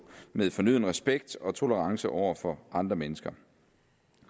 med fornøden respekt og tolerance over for andre mennesker